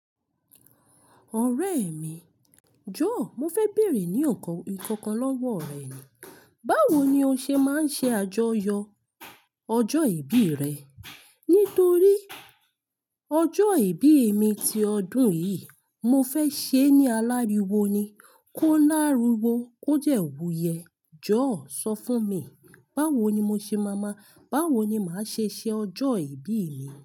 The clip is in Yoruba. Ọ̀rẹ́ mi, jọ̀ọ́ mo fẹ́ bèrè ní ọkàn ìkankan lọ́wọ́ rẹ ni. Báwo ni o ṣe máa ń ṣe àjọyọ̀ ọjọ́ ìbí rẹ? Nítorí ọjọ́ ìbí mi ti ọdún yìí mo fẹ́ ṣe é ní aláriwo ni. Kó láriwo, kó jẹ òwuyẹ. Jọ̀ọ́ sọ fún mi, báwo ni mo ṣe máa mọ̀? Báwo ni màá ṣe ṣe ọjọ́ ìbí mi?